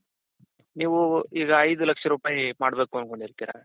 ನೀವು ಈಗ ಐದ್ ಲಕ್ಷ ರೂಪಾಯ್ ಮಾಡ್ಬೇಕು ಅನ್ಕೊಂಡಿರ್ತೀರ,